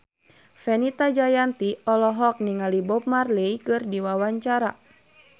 Fenita Jayanti olohok ningali Bob Marley keur diwawancara